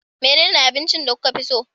Menene abincin da kuka fi so